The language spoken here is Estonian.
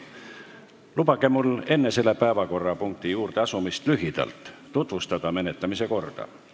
Lubage mul enne selle päevakorrapunkti juurde asumist lühidalt tutvustada menetlemise korda.